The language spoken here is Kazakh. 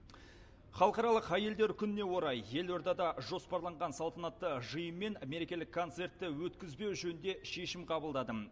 халықаралық әйелдер күніне орай елордада жоспарланған салтанатты жиын мен мерекелік концертті өткізбеу жөнінде шешім қабылдадым